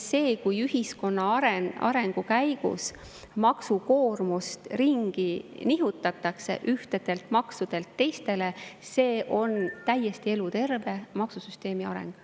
See, kui ühiskonna arengu käigus maksukoormust ringi nihutatakse ühtedelt maksudelt teistele, on täiesti eluterve maksusüsteemi areng.